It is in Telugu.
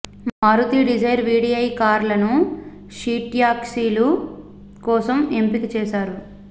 మారుతీ డిజైర్ వీడీఐ కార్లను షీ ట్యాక్సీల కోసం ఎంపిక చేశారు